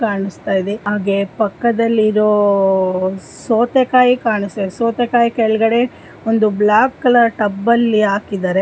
ಕಾಣಿಸ್ತಾ ಇದೆ ಹಾಗೆ ಪಕ್ಕದಲ್ಲಿ ಇರೋ ಸೌತೆಕಾಯಿ ಕಾಣಿಸ್ತಾ ಇದೆ. ಸೌತೆಕಾಯಿ ಕೆಳಗಡೆ ಒಂದು ಬ್ಲಾಕ್ ಕಲರ್ ಟಬ್ ಅಲ್ಲಿ ಹಾಕಿದ್ದಾರೆ.